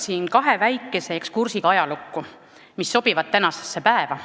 Alustan kahe väikese ekskursiga ajalukku, mis sobivad tänasesse päeva.